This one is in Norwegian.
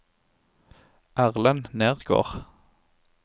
Erlend Nergård